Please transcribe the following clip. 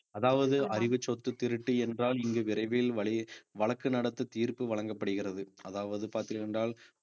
அதாவது அறிவு சொத்து திருட்டு என்றால் இங்கு விரைவில் வழி~ வழக்கு நடத்த தீர்ப்பு வழங்கப்படுகிறது அதாவது பார்த்தீர்கள் என்றால்